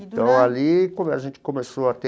Então, ali como a gente começou a ter